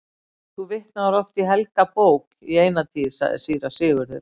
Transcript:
Þú vitnaðir oft í helga bók í eina tíð, sagði síra Sigurður.